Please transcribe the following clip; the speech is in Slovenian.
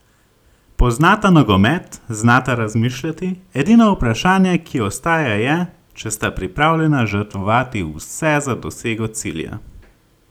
Poznata nogomet, znata razmišljati, edino vprašanje, ki ostaja je, če sta pripravljena žrtvovati vse za dosego cilja?